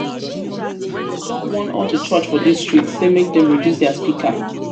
don warn all di church for dis street sey make dem reduce their speaker.